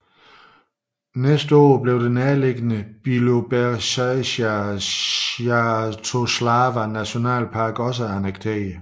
Næste år blev det nærliggende Biloberezjzjja Svjatoslava Nationalpark også annekteret